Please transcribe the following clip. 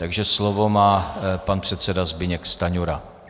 Takže slovo má pan předseda Zbyněk Stanjura.